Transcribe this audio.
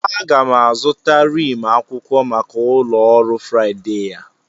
Aga m azụta rim akwụkwọ maka ụlọ ọrụ Friday a.